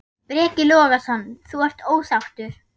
Breki Logason: Þú ert ósáttur?